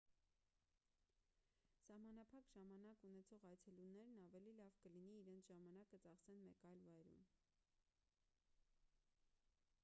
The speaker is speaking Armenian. սահմանափակ ժամանակ ունեցող այցելուներն ավելի լավ կլինի իրենց ժամանակը ծախսեն մեկ այլ վայրում